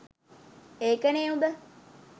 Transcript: ඒකනෙ උඹ